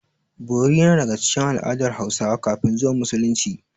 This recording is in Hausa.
Bori yana daga cikin al'adar Hausawa kafin zuwan Musulunci.